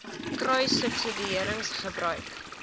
kruissubsidiëringgebruik